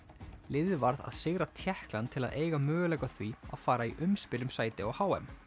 liðið varð að sigra Tékkland til að eiga möguleika á því að fara í umspil um sæti á h m